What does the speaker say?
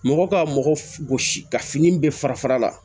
Mɔgɔ ka mɔgɔ gosi ka fini bɛɛ fara la